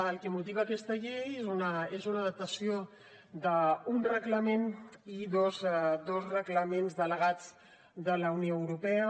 el que motiva aquesta llei és una adaptació d’un reglament i dos reglaments delegats de la unió europea